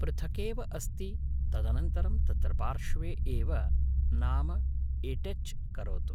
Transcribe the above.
पृथकेव अस्ति तदनन्तरं तत्र पार्श्वे एव नाम एटेच् करोतु